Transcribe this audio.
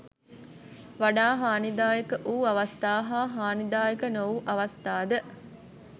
වඩා හානිදායක වූ අවස්ථා හා හානිදායක නොවූ අවස්ථාද